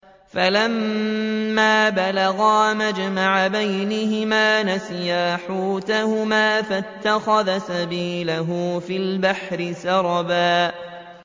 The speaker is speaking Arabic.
فَلَمَّا بَلَغَا مَجْمَعَ بَيْنِهِمَا نَسِيَا حُوتَهُمَا فَاتَّخَذَ سَبِيلَهُ فِي الْبَحْرِ سَرَبًا